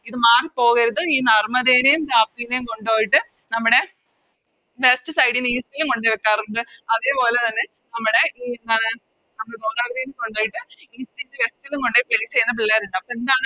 ഇത് മാറി പോകരുത് ഈ നർമ്മദനേം താപ്തിനേം കൊണ്ടോയിട്ട് നമ്മുടെ West side നെ East ൽ കൊണ്ടോയും വെക്കാറിണ്ട് അതേപോലെ തന്നെ നമ്മടെ ഈ ആ നമ്മള് ഗോദാവരിനെ കൊണ്ടോയിട്ട് East ന് west ലും കൊണ്ടോയിട്ട് Plce ചെയ്യുന്ന പിള്ളേരിണ്ടാവും